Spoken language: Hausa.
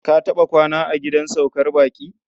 Ka taɓa kwana a gidan saukar baƙi?